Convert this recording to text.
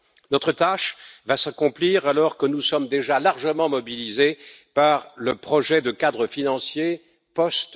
Notre tâche va s'accomplir alors que nous sommes déjà largement mobilisés par le projet de cadre financier post